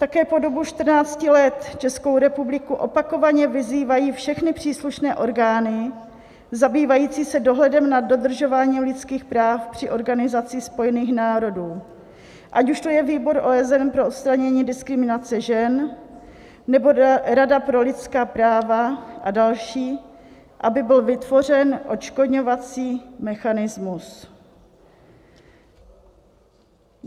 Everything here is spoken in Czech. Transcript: Také po dobu 14 let Českou republiku opakovaně vyzývají všechny příslušné orgány zabývající se dohledem nad dodržováním lidských práv při Organizaci spojených národů, ať už to je Výbor OSN pro odstranění diskriminace žen, nebo Rada pro lidská práva a další, aby byl vytvořen odškodňovací mechanismus.